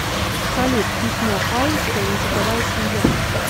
салют письмо айнская языковая семья